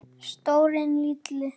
Stórir, litlir.